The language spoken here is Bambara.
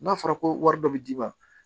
N'a fɔra ko wari dɔ bi d'i ma